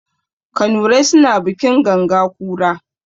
Kanurai suna bikin ganga kura.